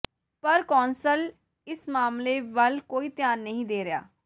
ਪਰ ਕੌਂਸਲ ਇਸ ਮਾਮਲੇ ਵੱਲ ਕੋਈ ਧਿਆਨ ਨਹੀਂ ਦੇ ਰਿਹਾ